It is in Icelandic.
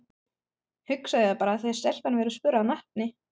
Hugsaðu þér bara þegar stelpan verður spurð að nafni.